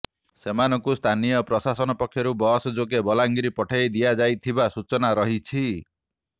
ସେମାନଙ୍କୁ ସ୍ଥାନୀୟ ପ୍ରଶାସନ ପକ୍ଷରୁ ବସ ଯୋଗେ ବଲାଙ୍ଗିର ପଠାଇ ଦିଆଯାଇଥିବା ସୂଚନା ରହିଛି